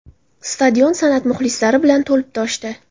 Stadion san’at muxlislari bilan to‘lib toshdi.